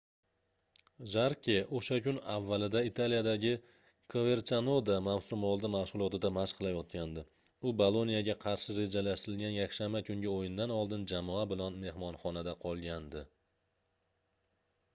jarke o'sha kun avvalida italiyadagi koverchanoda mavsumoldi mashg'ulotida mashq qilayotgandi. u boloniya"ga qarshi rejalashtirilgan yakshanba kungi o'yindan oldin jamoa bilan mehmonxonada qolgandi